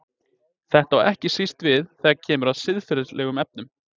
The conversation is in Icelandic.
Þetta á ekki síst við þegar kemur að siðferðilegum efnum.